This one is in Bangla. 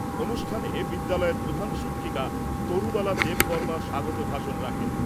অনুষ্ঠানে বিদ্যালয়ের প্রধান শিক্ষিকা তরুবালা দেববর্মা স্বাগত ভাষণ রাখেন।